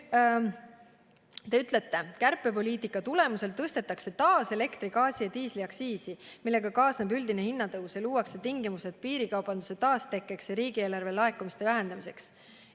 Te ütlete, et kärpepoliitika tulemusel tõstetakse taas elektri-, gaasi- ja diisliaktsiisi, millega kaasneb üldine hinnatõus ja luuakse tingimused piirikaubanduse taastekkeks ja riigieelarve laekumiste vähendamiseks.